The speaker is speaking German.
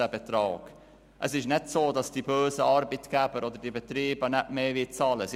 Es ist nicht so, dass die bösen Arbeitgeber oder Betriebe nicht mehr bezahlen wollen.